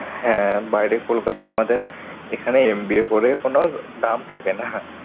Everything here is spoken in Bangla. হ্যাঁ বাইরে কলকাতা আমাদের এখানে MBA করে কোনো দাম থাকে না।